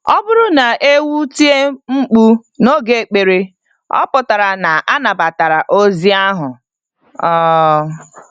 Ọ bụrụ na ewu tie mkpu n'oge ekpere, ọ pụtara na a nabatara ozi ahụ. um